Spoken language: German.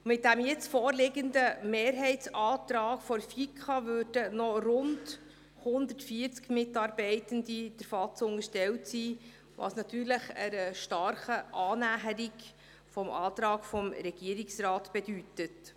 Mit dem jetzt vorliegenden Mehrheitsantrag der FiKo wären noch rund 140 Mitarbeitende der Vertrauensarbeitszeit unterstellt, was natürlich einer starken Annäherung an den Antrag des Regierungsrates gleichkommt.